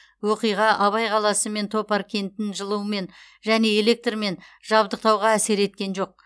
оқиға абай қаласы мен топар кентін жылумен және электрмен жабдықтауға әсер еткен жоқ